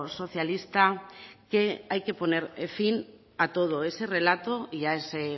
socialista que hay que poner fin a todo ese relato y a todo ese